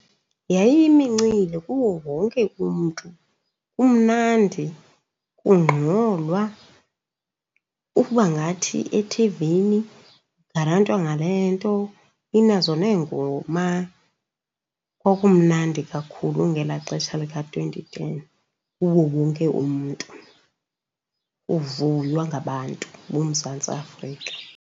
Yayiyimincili kuwo wonke umntu. Kumnandi, kungxolwa, uba ngathi ethivini kugarantwa ngale nto, inazo neengoma. Kwakumnandi kakhulu ngelaa xesha lika-twenty ten kuwo wonke umntu. Kuvuywa ngabantu boMzantsi Afrika.